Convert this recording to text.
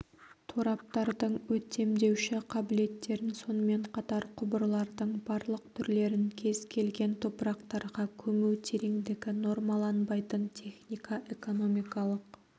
тораптардың өтемдеуші қабілеттерін сонымен қатар құбырлардың барлық түрлерін кез келген топырақтарға көму тереңдігі нормаланбайтын техника-экономикалық